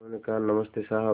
उन्होंने कहा नमस्ते साहब